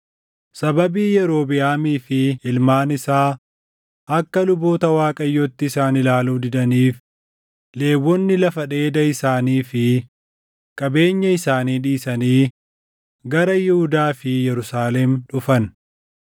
Sababii Yerobiʼaamii fi ilmaan isaa akka luboota Waaqayyootti isaan ilaaluu didaniif, Lewwonni lafa dheeda isaanii fi qabeenya isaanii dhiisanii gara Yihuudaa fi Yerusaalem dhufan.